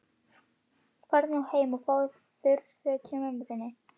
Farðu nú heim og fáðu þurr föt hjá mömmu þinni.